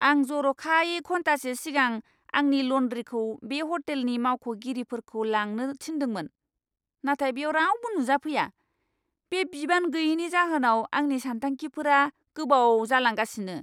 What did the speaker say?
आं जर'खायै घन्टासे सिगां आंनि ल'न्ड्रीखौ बे ह'टेलनि मावख'गिरिफोरखौ लांनो थिन्दोंमोन, नाथाय बेव रावबो नुजाफैया। बे बिबान गैयैनि जाहोनाव आंनि सानथांखिफोरा गोबाव जालांगासिनो!